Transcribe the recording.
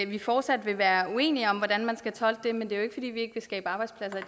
vi fortsat vil være uenige om altså hvordan man skal tolke det men det er jo ikke fordi vi ikke vil skabe arbejdspladser i